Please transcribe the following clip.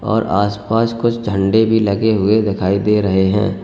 और आस पास कुछ झंडे भी लगे हुए दिखाई दे रहे हैं।